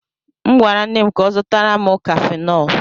M gwara nne m ka ọ zụtara m cafenol.